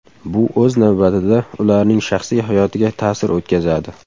Bu o‘z navbatida ularning shaxsiy hayotiga ta’sir o‘tkazadi.